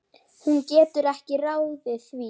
Hún getur ekki ráðið því.